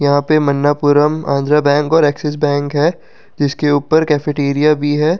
यहाँ पे मन्नापुरम आंध्रा बैंक और एक्सिस बैंक है जिसके ऊपर कैफेटेरिया भी है।